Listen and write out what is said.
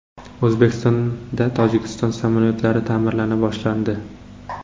O‘zbekistonda Tojikiston samolyotlari ta’mirlana boshlandi.